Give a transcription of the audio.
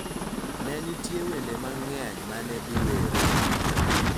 Ne nitie wende mang�eny ma ne iwero .